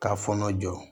K'a fɔɔnɔ jɔ